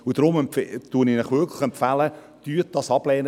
Deshalb empfehle ich Ihnen, das abzulehnen.